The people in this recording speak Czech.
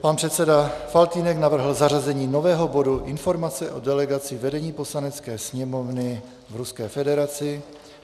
Pan předseda Faltýnek navrhl zařazení nového bodu Informace o delegaci vedení Poslanecké sněmovny v Ruské federaci.